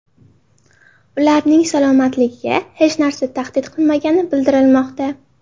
Ularning salomatligiga hech narsa tahdid qilmagani bildirilmoqda.